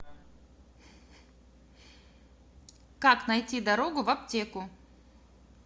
как найти дорогу в аптеку